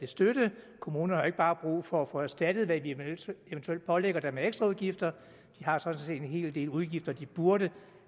støtte kommunerne har jo ikke bare brug for at få erstattet hvad vi eventuelt pålægger dem af ekstraudgifter de har sådan set en hel del udgifter de burde